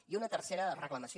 i una tercera reclamació